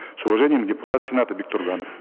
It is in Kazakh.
с уважением депутат сената бектурганов